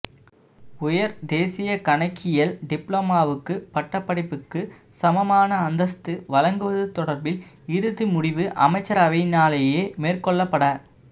உயர் தேசிய கணக்கியல் டிப்ளோமாவுக்கு பட்டப்படிப்புக்கு சமமான அந்தஸ்து வழங்குவது தொடர்பில் இறுதி முடிவு அமைச்சரவையினாலேயே மேற்கொள்ளப்பட